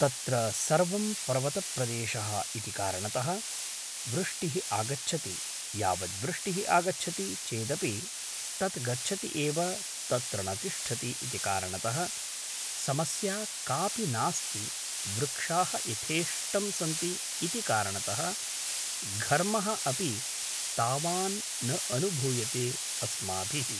तत्र सर्वं पर्वतप्रदेशः इति कारणतः वृष्टिः आगच्छति यावद्वृष्टिः आगच्छति चेदपि तत् गच्छति एव तत्र न तिष्ठति इति कारणतः समस्या कापि नास्ति वृक्षाः यथेष्टं सन्ति इति कारणतः घर्मः अपि तावान् न अनुभूयते अस्माभिः